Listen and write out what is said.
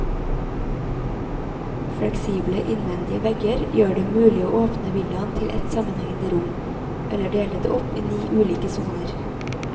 Fleksible innvendige vegger gjør det mulig å åpne villaen til ett sammenhengende rom, eller dele det opp i ni ulike soner.